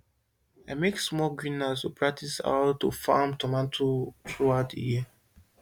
i make small greenhouse to take practice how to farm tomatoes throughout the year